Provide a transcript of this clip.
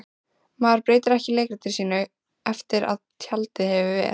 Maður breytir ekki leikritinu sínu eftir að tjaldið hefur ver